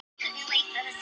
Þar kom það loksins.